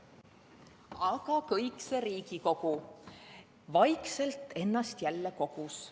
Aga kõik see Riigikogu vaikselt ennast jälle kogus.